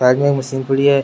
Side मे machine पड़ी है।